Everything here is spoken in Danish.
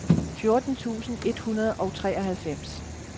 fjorten tusind et hundrede og treoghalvfems